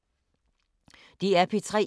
DR P3